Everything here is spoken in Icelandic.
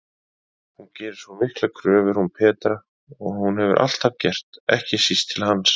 Hún gerir svo miklar kröfur hún Petra, og hefur alltaf gert, ekki síst til hans.